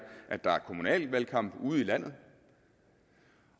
at der er kommunalvalgkamp ude i landet